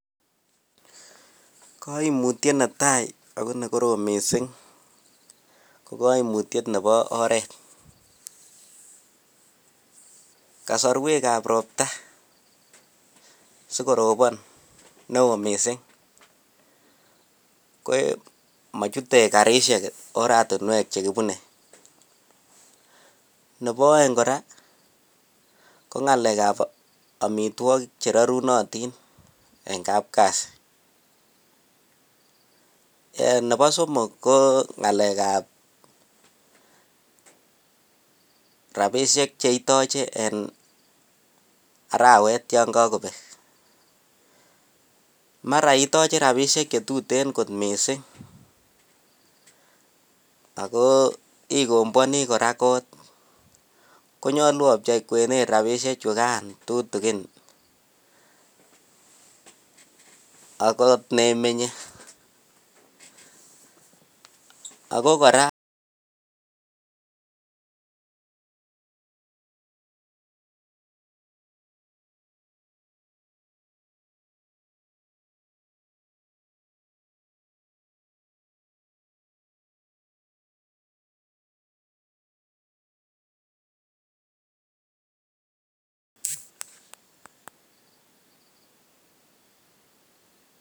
Koimutyet netaa akoo nekorom mising ko koimutiet nebo oreet, kosorwekab robta sikotonon neoo mising komochute karishek oratinwek chekibune, nebo oeng kora ko ng'alekab omitwokik cherorunotin en kapkasi, eeh nebo somok ko ng'alekab rabishek cheitoche en arawet yoon kakobek, mara itoche rabishek chetuten kot mising ak ko ikombwoni kora koot konyolu obchei kwenet rabishechukan tutukin ak ko nemenye ak ko kora.